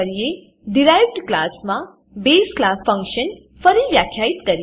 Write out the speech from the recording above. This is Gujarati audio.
ડિરાઇવ્ડ ડીરાઇવ્ડ ક્લાસમાં બસે બેઝ ક્લાસ ફંક્શન ફરી વ્યાખ્યિત કરીએ